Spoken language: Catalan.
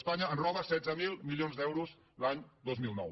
espanya ens roba setze mil milions d’euros l’any dos mil nou